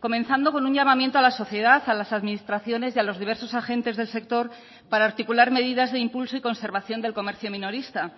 comenzando con un llamamiento a la sociedad a las administraciones y a los diversos agentes del sector para articular medidas de impulso y conservación del comercio minorista